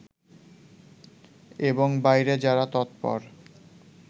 এবং বাইরে যারা তৎপর